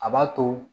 A b'a to